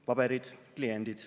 "Paberid, kliendid.